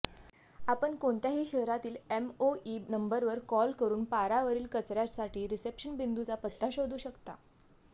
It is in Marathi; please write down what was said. आपण कोणत्याही शहरातील एमओई नंबरवर कॉल करून पारावरील कचर्यासाठी रिसेप्शन बिंदूचा पत्ता शोधू शकता